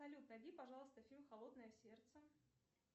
салют найди пожалуйста фильм холодное сердце